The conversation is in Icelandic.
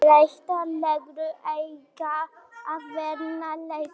Breyttar reglur eiga að vernda leikmenn